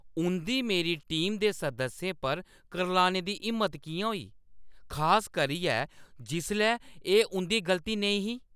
उंʼदी मेरी टीम दे सदस्यें पर करलाने दी हिम्मत किʼयां होई, खास करियै जिसलै एह् उंʼदी गलती नेईं ही!